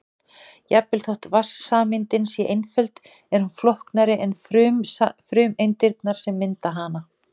Jafnvel þótt vatnssameindin sé einföld er hún flóknari en frumeindirnar sem mynda hana.